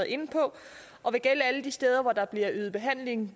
inde på og vil gælde alle de steder hvor der bliver ydet behandling